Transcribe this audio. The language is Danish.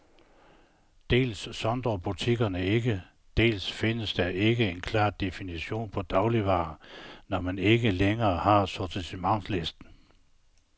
Dels sondrer butikkerne ikke, dels findes der ikke en klar definition på dagligvarer, når man ikke længere har sortimentslisten.